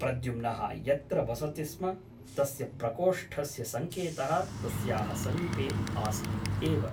प्रद्युम्नः यत्र वसति स्म तस्य प्रकोष्ठस्य सङ्केतः तस्याः समीपे आसीत् एव ।